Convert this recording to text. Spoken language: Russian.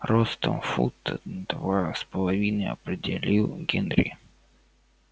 ростом фута два с половиной определил генри